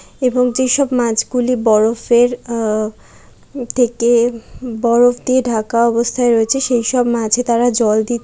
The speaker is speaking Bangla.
এবং যেসব মাছগুলি বরফ আহ এর থেকে বরফ দিয়ে ঢাকা অবস্থায় রয়েছে সেই সব মাছে তারা জল দি--